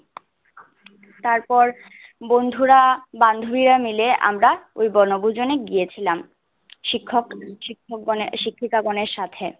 তারপর বন্ধুরা বান্ধবীরা মিলে আমরা ওই বনভূজনে গিয়েছিলাম। শিক্ষক শিক্ষকগণে শিক্ষাগণের সাথে